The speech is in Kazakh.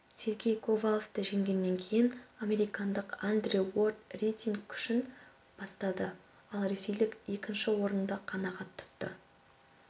сергей ковалвті жеңгеннен кейін американдық андре уорд рейтинг көшін бастады ал ресейлік екінші орынды қанағат тұтты